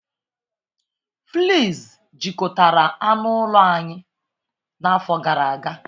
Fleas jikọtara anụ ụlọ anyị n'afọ gara aga